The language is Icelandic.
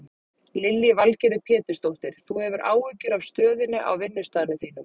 Lillý Valgerður Pétursdóttir: Þú hefur áhyggjur af stöðunni á vinnustaðnum þínum?